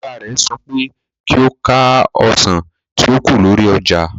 Ọ̀gá rẹ̀ sọ pé kí ó ka ọsàn tí ó kù lórí ọjà.